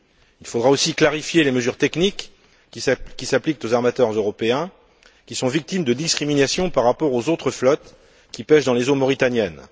Il faudra aussi clarifier les mesures techniques qui s'appliquent aux armateurs européens, victimes de discriminations par rapport aux autres flottes qui pêchent dans les eaux mauritaniennes.